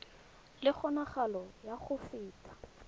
le kgonagalo ya go feta